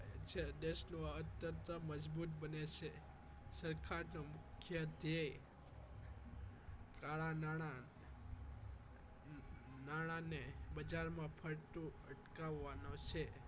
છે દેશનો આ અર્થતંત્ર મજબૂત બને છે સરકારનું મુખ્ય ધ્યેય કાળા નાણા નાણા ને બજાર માં ફરતું અટકાવવા નો છે